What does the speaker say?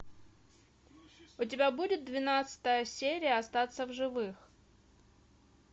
у тебя будет двенадцатая серия остаться в живых